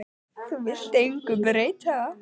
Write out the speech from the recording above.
Þú vilt engu breyta.